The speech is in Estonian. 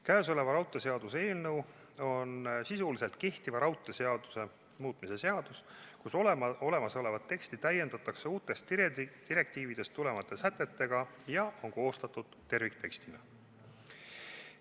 Käesolev raudteeseaduse eelnõu on sisuliselt kehtiva raudteeseaduse muutmise seadus, kus olemasolevat teksti täiendatakse uutest direktiividest tulenevate sätetega ja mis on koostatud terviktekstina.